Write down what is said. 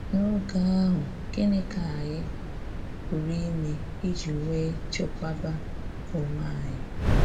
N'oge ahụ, gịnị ka anyi pụrụ ime iji wee chekwaba onwe anyị?